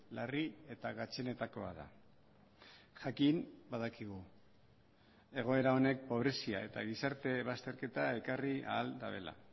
larri eta gatzenetakoa da jakin badakigu egoera honek pobrezia eta gizarte bazterketa ekarri ahal dutela